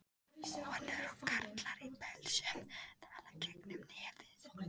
Konur og karlar í pelsum tala gegnum nefið.